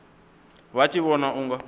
vha tshi vhona u nga